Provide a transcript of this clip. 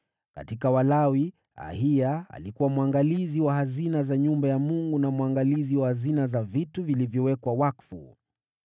Katika Walawi, Ahiya alikuwa mwangalizi wa hazina za nyumba ya Mungu na mwangalizi wa hazina za vitu vilivyowekwa wakfu.